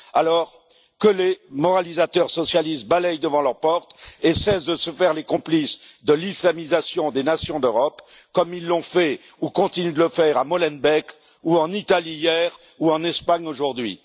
Alors, que les moralisateurs socialistes balayent devant leur porte et cessent de se faire les complices de l'islamisation des nations d'Europe, comme ils l'ont fait ou continuent de le faire à Molenbeek, ou en Italie hier, ou en Espagne aujourd'hui.